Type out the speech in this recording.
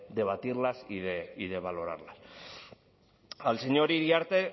debatirlas y de valorarlas al señor iriarte en